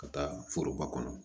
Ka taa foroba kɔnɔ